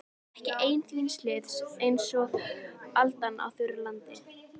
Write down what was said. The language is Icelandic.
Ekki einn þíns liðs einsog aldan á þurru landi.